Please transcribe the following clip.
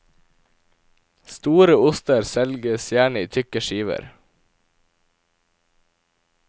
Store oster selges gjerne i tykke skiver.